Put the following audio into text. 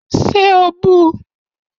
Ṣé o bu u?